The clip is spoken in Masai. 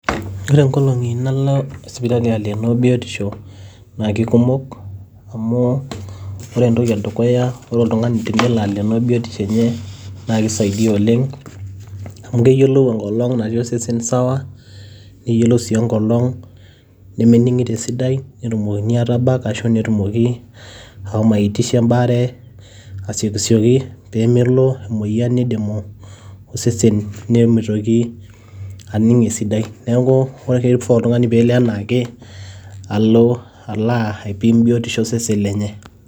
Ore engolong'i nalo sipitali alenoo biotisho naa kekumok. Amu ore entoki edukuya tenalo sipitali Aya oltung'ani tenelo aleeno biotisho enye naa keisaidia oleng' amu keyiolou engolong' natii osesen sawa neyiolou sii engolong' nemetii netumokini aatabak arashu nitumoki ashomo aipotu embaare, asiyiokisioki peemelo emoyian neidimu osesen nemeitoki aning' esidai. Neeku ore oshi keifaa nelo oltung'ani enaake alo aipim biotisho osesen lenye.